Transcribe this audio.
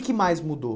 O que mais mudou?